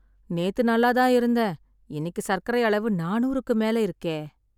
நேத்து நல்லாதான் இருந்தேன், இன்னிக்கு சர்க்கரை அளவு நானூறுக்கு மேல இருக்கே...